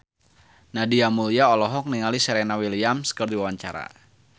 Nadia Mulya olohok ningali Serena Williams keur diwawancara